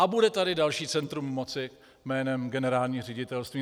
A bude tady další centrum moci jménem generální ředitelství.